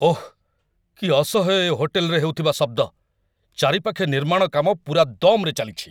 ଓଃ! କି ଅସହ୍ୟ ଏ ହୋଟେଲରେ ହେଉଥିବା ଶବ୍ଦ, ଚାରିପାଖେ ନିର୍ମାଣ କାମ ପୂରା ଦମ୍‌ରେ ଚାଲିଛି।